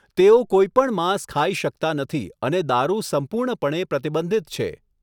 તેઓ કોઈપણ માંસ ખાઈ શકતા નથી અને દારૂ સંપૂર્ણપણે પ્રતિબંધિત છે.